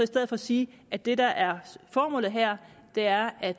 stedet sige at det der er formålet her er at